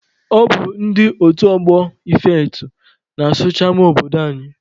Ọ bụ ndị otu ọgbọ Ifeatụ na-asụcha ama obodo anyị.